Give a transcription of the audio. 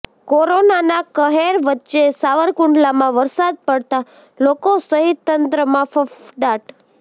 કોરોનાના કહેર વચ્ચે સાવરકુંડલામાં વરસાદ પડતા લોકો સહિત તંત્રમાં ફફડાટ